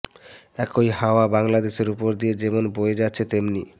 একই হাওয়া বাংলাদেশের ওপর দিয়ে যেমন বয়ে যাচ্ছে তেমনি